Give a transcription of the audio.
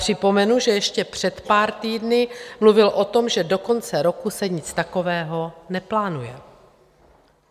Připomenu, že ještě před pár týdny mluvil o tom, že do konce roku se nic takového neplánuje.